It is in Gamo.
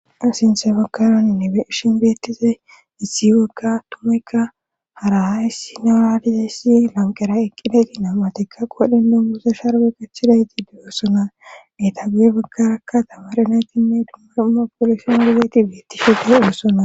asintha pakaroninne be ishin beettise issi wagga tumaykka harahayssi naraadidessi lanqera eqqideti namatikka qodhen dummuse sharwe kachidayti diyossona meta guye baggarakka dabaarenatinne dummar7uma polushyon argeti beettishuude odossona